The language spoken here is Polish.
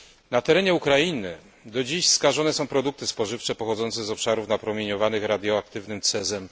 Na terenie Ukrainy do dziś skażone są produkty spożywcze pochodzące z obszarów napromieniowanych radioaktywnym cezem